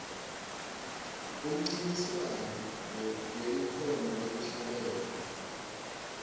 umncintiswano welikhono lekuhlabelela